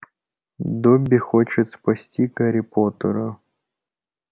добби хочет спасти гарри поттера